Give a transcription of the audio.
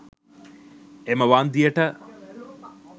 එම වන්දියට